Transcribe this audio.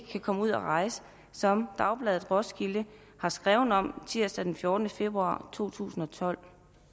kan komme ud at rejse som dagbladet roskilde har skrevet om tirsdag den fjortende februar totusinde og tolvte